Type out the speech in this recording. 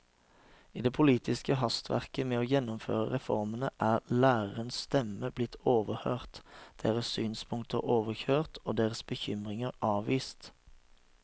I det politiske hastverket med å gjennomføre reformene er lærernes stemme blitt overhørt, deres synspunkter overkjørt og deres bekymringer avvist.